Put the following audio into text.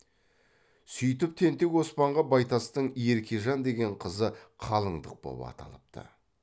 сүйтіп тентек оспанға байтастың еркежан деген қызы қалындық боп аталыпты